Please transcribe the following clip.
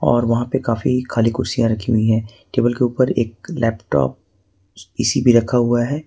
और वहां पे काफी खाली कुर्सियां रखी हुई हैं टेबल के ऊपर एक लैपटॉप इसी भी रखा हुआ है।